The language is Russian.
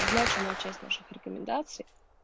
значимая часть наших рекомендаций